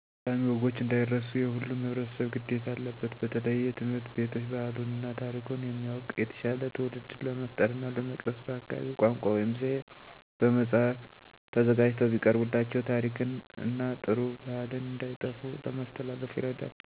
ጠቃሚ ወጎች እንዳይረሱ የሁሉም ህብረተሰብ ግዴታ አለበት በተለየ ትምህርት ቤቶች ባህሉን እና ታሪኩን የሚያዉቅ የተሻለ ትዉልድን ለመፍጠር እና ለመቅረፅ በአካባቢው ቋንቋ (ዘዬ) በመፃህፍ ተዘጋጅተው ቢቀርቡላቸው ታሪክን እና ጥሩ ባህልን እንዳይጠፉ ለማስተላለፍ ይረዳል።